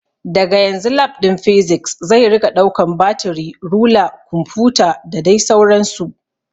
Daga yanzu Lab ɗin Physics zai rika ɗaukan batiri, rula, kumfuta da dai sauran su